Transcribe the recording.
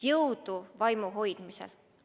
Jõudu vaimu hoidmisel!